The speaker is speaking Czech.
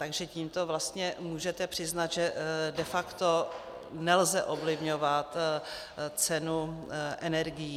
Takže tímto vlastně můžete přiznat, že de facto nelze ovlivňovat cenu energií.